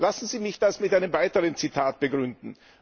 Lassen Sie mich das mit einem weiteren Zitat begründen.